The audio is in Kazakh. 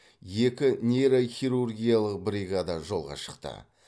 екі нейрохирургиялық бриагада жолға шықты